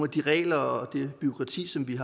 de regler og det bureaukrati som vi